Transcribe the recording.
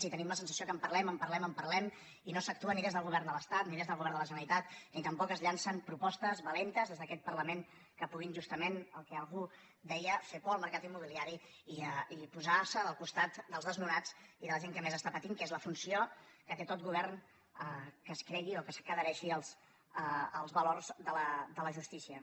i tenim la sensació que en parlem en parlem en parlem i no s’actua ni des del govern de l’estat ni des del govern de la ge·neralitat ni tampoc es llancen propostes valentes des d’aquest parlament que puguin justament el que algú en deia fer por al mercat immobiliari i posar·se al costat dels desnonats i de la gent que més està patint que és la funció que té tot govern que es cregui o que s’adhereixi als valors de la justícia